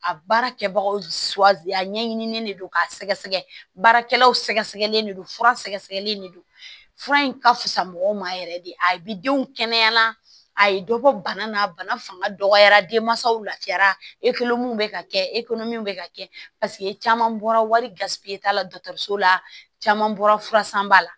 A baara kɛbagaw a ɲɛɲinini de don k'a sɛgɛ sɛgɛ baarakɛlaw sɛgɛsɛgɛlen de don fura sɛgɛsɛgɛlen de don fura in ka fisa mɔgɔw ma yɛrɛ de a bɛ denw kɛnɛya a ye dɔ bɔ bana na bana fanga dɔgɔyara denmansaw lafiyara bɛ ka kɛ bɛ ka kɛ paseke caman bɔra warisi t'a la dɔgɔtɔrɔso la caman bɔra furasanbaa